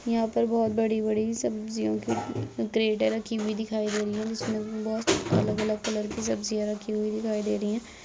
यहां पर बहुत बड़ी-बड़ी सब्जियों की क्रेटे रखी हुई दिखाई दे रही है। जिसमें बहुत अलग-अलग कलर की सब्जियां रखी हुई दिखाई दे रही है।